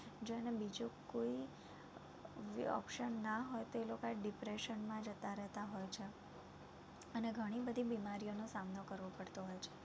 જો એને બીજું કોઈ બી option ના હોય તો એ લોકા depression મા જતાં રેતા હોય છે અને ગણી બધી બીમારીઓનો સામનો કરવો પડતો હોય છે